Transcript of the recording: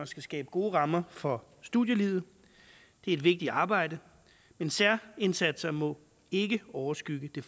skal skabe gode rammer for studielivet det er et vigtigt arbejde men særindsatser må ikke overskygge